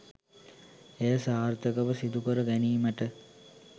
එය සාර්ථකව සිදුකර ගැනීමට